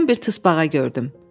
Birdən bir tısbağa gördüm.